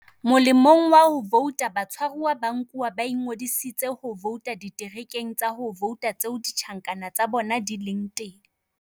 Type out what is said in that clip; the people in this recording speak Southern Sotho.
"Molemong wa ho vouta, batshwaruwa ba nkuwa ba ingodiseditse ho vouta diterekeng tsa ho vouta tseo ditjhankana tsa bona di leng teng."